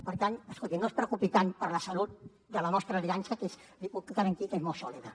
per tant escolti no es preocupi tant per la salut de la nostra aliança que li puc garantir que és molt sòlida